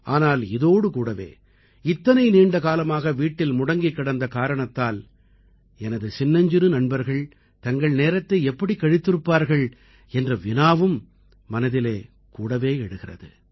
ஆனால் இதோடு கூடவே இத்தனை நீண்ட காலமாக வீட்டில் முடங்கிக் கிடந்த காரணத்தால் எனது சின்னஞ்சிறு நண்பர்கள் தங்கள் நேரத்தை எப்படி கழித்திருப்பார்கள் என்ற வினாவும் மனதில் கூடவே எழுகிறது